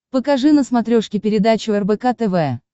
покажи на смотрешке передачу рбк тв